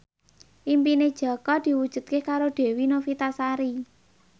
impine Jaka diwujudke karo Dewi Novitasari